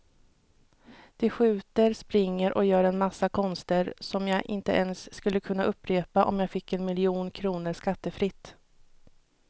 De skjuter, springer och gör en massa konster som jag inte ens skulle kunna upprepa om jag fick en miljon kronor skattefritt.